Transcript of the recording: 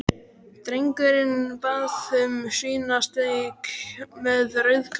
Drengurinn bað um svínasteik með rauðkáli.